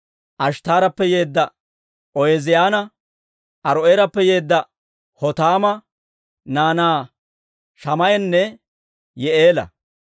Ashttaarappe yeedda Ooziyaana, Aaro'eerappe yeedda Hotaama naanaa Shamaa'anne Yi'i'eela,